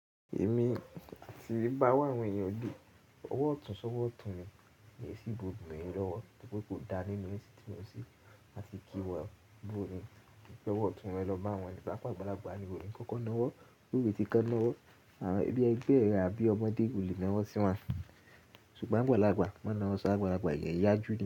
Èmi àti bá wá àwọn ènìyàn dé ọwọ́ ọ̀tún ṣọ́wọ́ ọ̀tún mi, mi è sí ibùdó ìlú mi lọ́wọ́, ṣùgbọ́n kò dá nínú èsì tí mo ṣì máa ti kí wọ́n bú mi. Ọwọ́ ọ̀tún wọn lọ bá àwọn ẹni bá gbágbàlagbà ni wò ni kọ́kọ́ náwọ́, lórí ti kán náwọ́, àbí ẹgbẹ́ àbí ọmọdé ìlú ni wọ́n sì wá. Ṣùgbọ́n àgbàlagbà máa náwọ́ ṣágbàlagbà ìyẹn yájú.